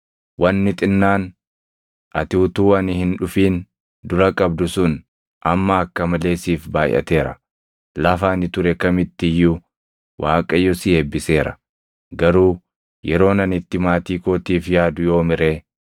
Wanni xinnaan ati utuu ani hin dhufin dura qabdu sun amma akka malee siif baayʼateera; lafa ani ture kamitti iyyuu Waaqayyo si eebbiseera. Garuu yeroon ani itti maatii kootiif yaadu yoomi ree?”